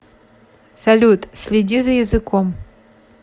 салют следи за языком